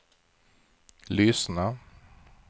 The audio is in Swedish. lyssna